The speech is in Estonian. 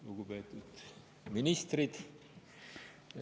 Lugupeetud ministrid!